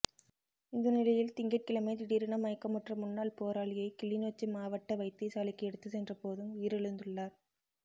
இந்த நிலையில் திங்கட் கிழமை திடீரென மயக்க முற்ற முன்னாள் போராளியை கிளிநொச்சி மாவட்ட வைத்தியசாலைக்கு எடுத்துச் சென்றபோதும் உயிரிழந்துள்ளார்